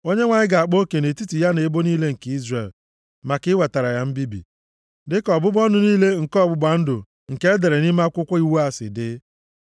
Onyenwe anyị ga-akpa oke nʼetiti ya na ebo niile nke Izrel, maka iwetara ya mbibi, dị ka ọbụbụ ọnụ niile nke ọgbụgba ndụ nke e dere nʼime Akwụkwọ Iwu a si dị.